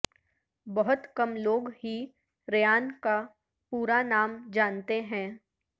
بہت کم لوگ ہی ریان کا پورا نام جانتے ہیں